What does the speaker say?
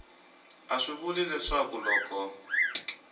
a swi vuli leswaku loko